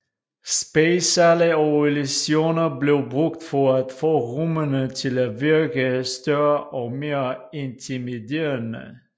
Spejlsale og illusioner blev brugt for at få rummene til at virke større og mere intimiderende